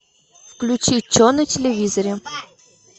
включи че на телевизоре